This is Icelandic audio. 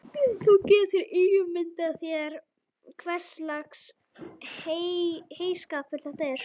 Þú getur ímyndað þér hverslags heyskapur þetta er.